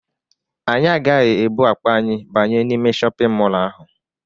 Anyị agaghị ebu akpa anyị banye n'ime shọpịn mọlụ ahụ.